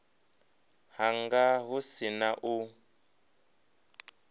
hanga hu si na u